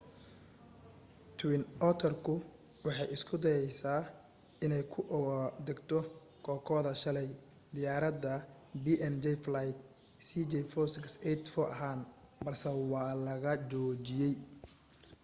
twin otter ku waxay isku dayaysay inay ku ugu degto kokoda shalay diyaarada png flight cg4684 ahaan balse waa la joojiyay